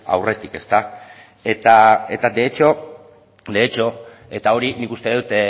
aurretik eta hori nik uste dut